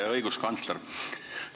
Hea õiguskantsler!